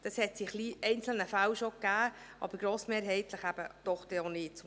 Dies gab es in einzelnen Fällen schon, aber zum Glück grossmehrheitlich dann noch nicht.